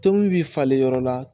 Tobi bi falen yɔrɔ la